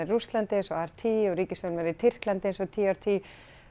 í Rússlandi eins og r t og ríkisfjölmiðlar í Tyrklandi eins og t r t